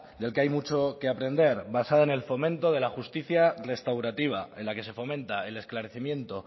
del que hay mucho que aprender basada en el fomento de la justicia restaurativa en la que se fomenta el esclarecimiento